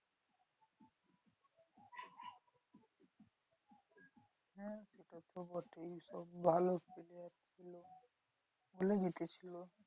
সেতো বটেই সব ভালো player ছিল। ছিল।